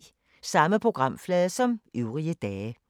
Samme programflade som øvrige dage